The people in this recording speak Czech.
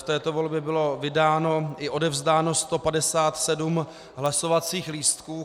V této volbě bylo vydáno i odevzdáno 157 hlasovacích lístků.